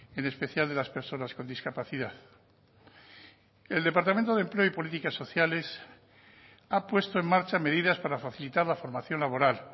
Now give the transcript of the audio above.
en especial de las personas con discapacidad el departamento de empleo y políticas sociales ha puesto en marcha medidas para facilitar la formación laboral